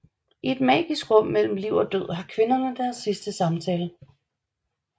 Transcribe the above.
I et magisk rum mellem liv og død har kvinderne deres sidste samtale